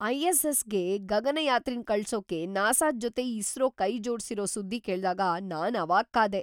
ಐ.ಎಸ್.ಎಸ್.ಗೆ ಗಗನಯಾತ್ರಿನ್ ಕಳ್ಸೋಕೆ ನಾಸಾದ್ ಜೊತೆ ಇಸ್ರೋ ಕೈ ಜೋಡ್ಸಿರೋ ಸುದ್ದಿ ಕೇಳ್ದಾಗ ನಾನ್‌ ಅವಾಕ್ಕಾದೆ.